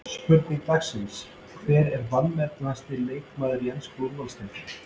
Spurning dagsins: Hver er vanmetnasti leikmaðurinn í ensku úrvalsdeildinni?